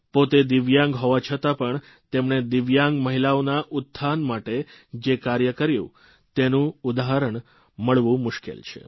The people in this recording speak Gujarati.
પોતે દિવ્યાંગ હોવા છતાં પણ તેમણે દિવ્યાંગ મહિલાનોના ઉત્થાન માટે જે કાર્યો કર્યા તેનું ઉદાહરણ મળવું મુશ્કેલ છે